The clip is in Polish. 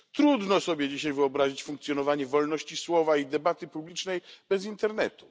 Trudno sobie dzisiaj wyobrazić funkcjonowanie wolności słowa i debaty publicznej bez internetu.